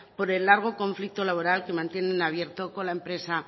por el largo conflicto laboral que mantienen abierto con la empresa